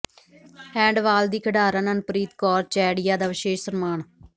handball ਦੀ ਖਿਡਾਰਨ ਅਨੁਪ੍ਰੀਤ ਕੌਰ ਚੈੜੀਆਂ ਦਾ ਵਿਸ਼ੇਸ਼ ਸਨਮਾਨ